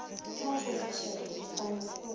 sa go fofiša difofane o